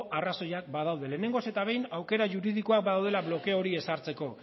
arrazoiak badaude lehenengoz eta behin aukera juridikoak badaudela blokeo hori ezartzeko